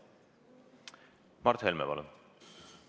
Mart Helme, palun!